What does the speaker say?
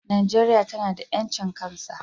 Najeria tana da yancin kan sa.